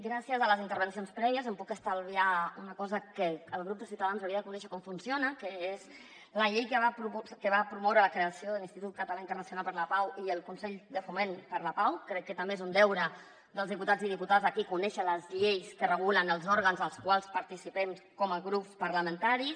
gràcies a les intervencions prèvies em puc estalviar una cosa que el grup de ciutadans hauria de conèixer com funciona que és la llei que va promoure la creació de l’institut català internacional per la pau i el consell de foment per la pau crec que també és un deure dels diputats i diputades aquí conèixer les lleis que regulen els òrgans dels quals participem com a grups parlamentaris